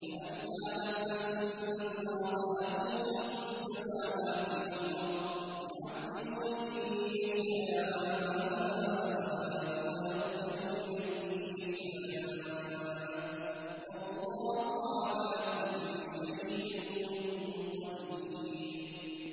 أَلَمْ تَعْلَمْ أَنَّ اللَّهَ لَهُ مُلْكُ السَّمَاوَاتِ وَالْأَرْضِ يُعَذِّبُ مَن يَشَاءُ وَيَغْفِرُ لِمَن يَشَاءُ ۗ وَاللَّهُ عَلَىٰ كُلِّ شَيْءٍ قَدِيرٌ